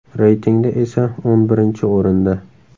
Reytingda esa o‘n birinchi o‘rinda.